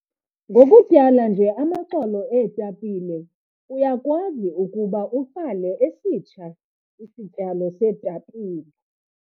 Ngokutyala nje amaxolo eetapile uyakwazi ukuba utyale esitsha isityalo seetapile.